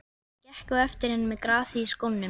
Ég gekk á eftir henni með grasið í skónum!